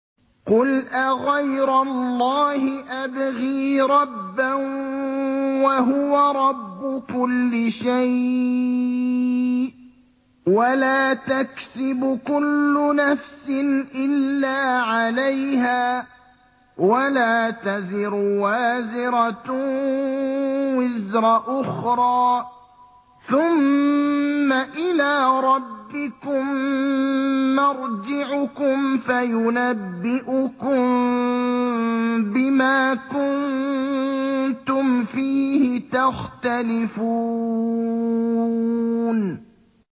قُلْ أَغَيْرَ اللَّهِ أَبْغِي رَبًّا وَهُوَ رَبُّ كُلِّ شَيْءٍ ۚ وَلَا تَكْسِبُ كُلُّ نَفْسٍ إِلَّا عَلَيْهَا ۚ وَلَا تَزِرُ وَازِرَةٌ وِزْرَ أُخْرَىٰ ۚ ثُمَّ إِلَىٰ رَبِّكُم مَّرْجِعُكُمْ فَيُنَبِّئُكُم بِمَا كُنتُمْ فِيهِ تَخْتَلِفُونَ